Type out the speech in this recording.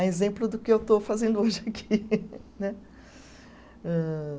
É exemplo do que eu estou fazendo hoje aqui. né âh